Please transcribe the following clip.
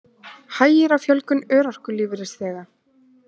Hægir á fjölgun örorkulífeyrisþega